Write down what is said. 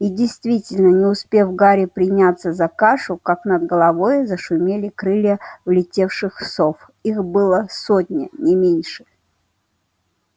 и действительно не успел гарри приняться за кашу как над головой зашумели крылья влетевших сов их была сотня не меньше